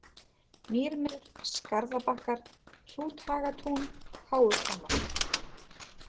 Mýrmelur, Skarðabakkar, Hrúthagatún, Háuhvammar